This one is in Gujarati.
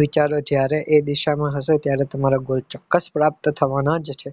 વિચારો જ્યારે એ દિશામાં હશે ત્યારે તમારા goal ચોક્કસ પ્રાપ્ત થવાના જ છે